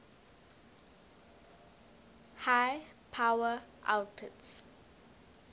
high power outputs